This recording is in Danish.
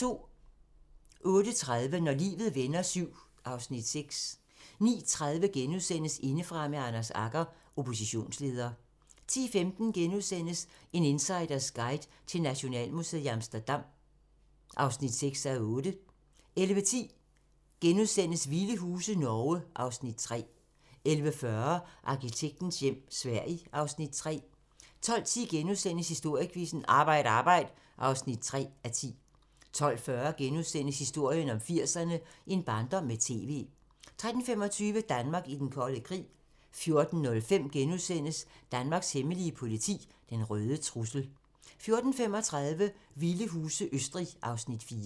08:30: Når livet vender VII (Afs. 6) 09:30: Indefra med Anders Agger - Oppositionsleder * 10:15: En insiders guide til Nationalmuseet i Amsterdam (6:8)* 11:10: Vilde huse - Norge (Afs. 3)* 11:40: Arkitektens hjem - Sverige (Afs. 3) 12:10: Historiequizzen: Arbejd Arbejd (3:10)* 12:40: Historien om 80'erne: En barndom med TV * 13:25: Danmark i den kolde krig 14:05: Danmarks Hemmelige politi: Den røde trussel * 14:35: Vilde huse - Østrig (Afs. 4)